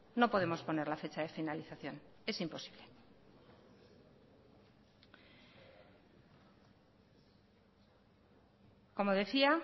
no podemos poner la fecha de finalización es imposible como decía